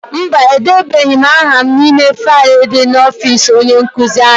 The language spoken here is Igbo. Mba, edebeghị m aha n'ime faịlu dị n'ọfịịsi onye nkụzi anyị.